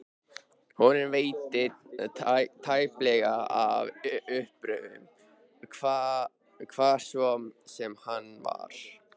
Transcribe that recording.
Honum veitti tæplega af uppörvun, hvar svo sem hann var.